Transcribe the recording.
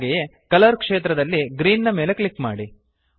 ಹಾಗೆಯೇ ಕಲರ್ ಕ್ಷೇತ್ರದಲ್ಲಿ ಗ್ರೀನ್ ನ ಮೆಲೆ ಕ್ಲಿಕ್ ಮಾಡಿ